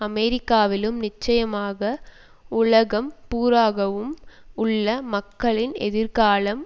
அமெரிக்காவிலும் நிச்சயமாக உலகம் பூராகவும் உள்ள மக்களின் எதிர்காலம்